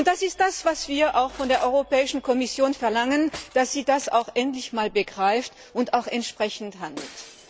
Das ist es, was wir von der Europäischen Kommission verlangen, dass sie das endlich einmal begreift und auch entsprechend handelt.